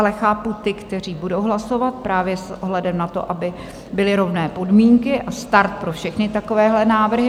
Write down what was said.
Ale chápu ty, kteří budou hlasovat právě s ohledem na to, aby byly rovné podmínky a start pro všechny takovéhle návrhy.